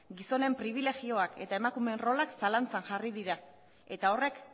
gizonen pribilegioak eta emakumeen rolak zalantzan jarri dira eta horrek